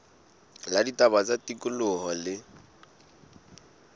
la ditaba tsa tikoloho le